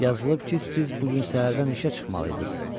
Yazılıb ki, siz bu gün səhərdən işə çıxmalı idiniz.